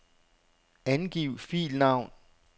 Angiv filnavn.